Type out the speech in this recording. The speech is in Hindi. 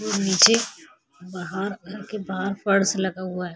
नीचे बाहर घर के बाहर पर्स लगा हुआ है।